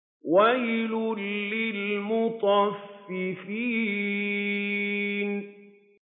وَيْلٌ لِّلْمُطَفِّفِينَ